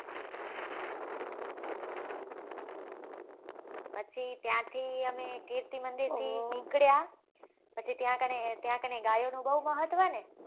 પછી ત્યાં થી અમે કીર્તિ મંદિર થી નીકળ્યા પછી ત્યાં કને ત્યાં કને ગાયો નું બઉ મહત્વ ને